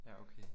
Ja okay